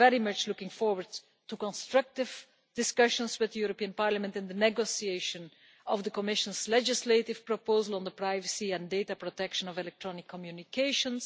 We are very much looking forward to constructive discussions with the European Parliament in the negotiation of the Commission's legislative proposal on the privacy and data protection of electronic communications.